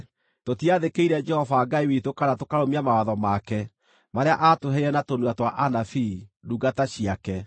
tũtiathĩkĩire Jehova Ngai witũ kana tũkarũmia mawatho make marĩa aatũheire na tũnua twa anabii, ndungata ciake.